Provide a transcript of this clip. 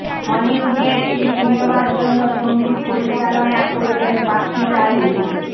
হলিউডে একটি সিনেমার জন্য সঙ্গীত পরিচালনা করবেন বাপ্পি লাহিড়ী